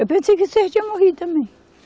Eu pensei que você já tinha morrido também.